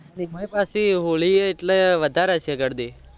એઈમાં પાછી હોલી એ એટલે વધાર હશે ગરદી